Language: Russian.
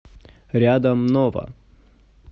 рядом нова